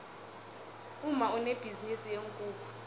umma unebhizinisi yeenkukhu